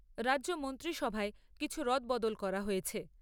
রাজ্য মন্ত্রিসভায় কিছু রদবদল করা হয়েছে ।